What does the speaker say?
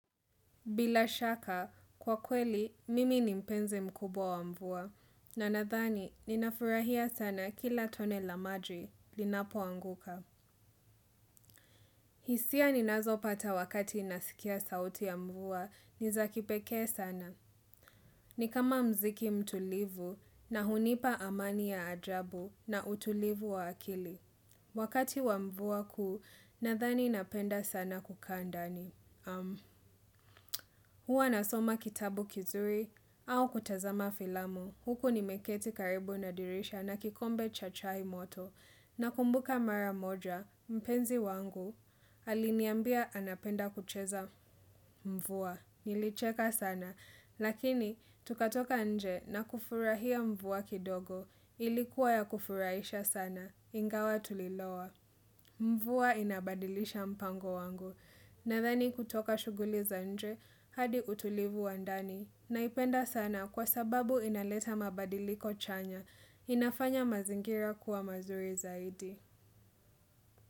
Bila shaka, kwa kweli, mimi ni mpenze mkubwa wa mvua, na nadhani, ninafurahia sana kila tone la maji linapoanguka. Hisia ninazo pata wakati nasikia sauti ya mvua, nizakipekee sana. Ni kama mziki mtulivu na hunipa amani ya ajabu na utulivu wa akili. Wakati wa mvua kuu, nadhani napenda sana kukaa ndani. Huwa nasoma kitabu kizuri, au kutazama filamu, huku ni meketi karibu nadirisha na kikombe cha chai moto, nakumbuka mara moja, mpenzi wangu, aliniambia anapenda kucheza mvua, nilicheka sana, lakini tukatoka nje na kufurahia mvua kidogo, ilikuwa ya kufurahisha sana, ingawa tulilowa. Mvua inabadilisha mpango wangu, nadhani kutoka shuguli za nje, hadi utulivu wa ndani, naipenda sana kwa sababu inaleta mabadiliko chanya, inafanya mazingira kuwa mazuri zaidi.